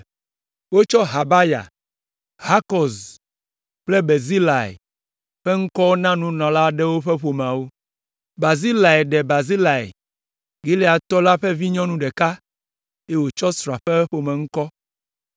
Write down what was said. Wotsɔ Habaya, Hakɔz kple Barzilai ƒe ŋkɔwo na nunɔla aɖewo ƒe ƒomeawo. Barzilai ɖe Barzilai, Gileadtɔ la ƒe vinyɔnu ɖeka, eye wòtsɔ srɔ̃a ƒe ƒomeŋkɔ.